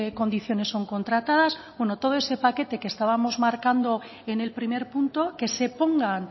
condiciones son contratadas bueno todo ese paquete que estábamos marcando en el primer punto que se pongan